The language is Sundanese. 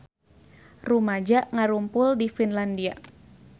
Rumaja ngarumpul di Finlandia